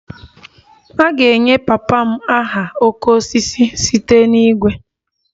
A ga-enye papa m aha 'oke osisi' site na igwe